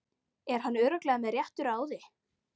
Er hann örugglega með réttu ráði?